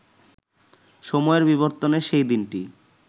সময়ের বিবর্তনে সেই দিনটি